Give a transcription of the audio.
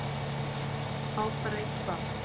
Á bara eitt barn